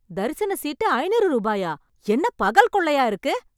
தரிசன சீட்டு ஐநூறு ரூபாயா? என்ன பகல் கொள்ளையா இருக்கு.